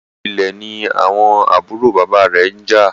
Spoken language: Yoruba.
Nítorí Ilè ní àwọn àbúrò bàbá rẹ njà